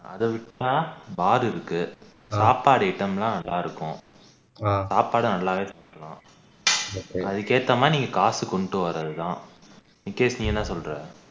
அதை விட்டா பாரு இருக்கு சாப்பாடு item எல்லாம் நல்லா இருக்கும் சாப்பாடு நல்லாவே சாப்பிடலாம் அதுக்கு ஏத்த மாதிரி நீங்க காசு கொண்டு வரது தான் விக்னேஷ் நீ என்ன சொல்ற